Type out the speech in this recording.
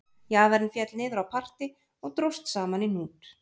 Jaðarinn féll niður á parti og dróst saman í hnút